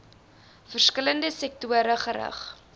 verskillende sektore gerig